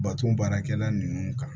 Baton baarakɛla nunnu kan